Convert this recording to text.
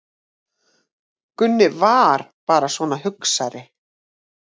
Gunni VAR bara svona hugsari.